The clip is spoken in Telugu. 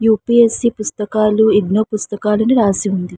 యూ పి యస్ సి పుస్తకాలూ ఇగ్నో పుస్తకాలని రాసి వుంది.